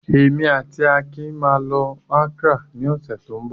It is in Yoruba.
Èmi àti Akin máa lọ Accra ní ọ̀sẹ̀ tó ń bọ̀.